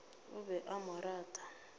o be a mo rata